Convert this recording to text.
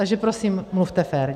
Takže prosím mluvte fér.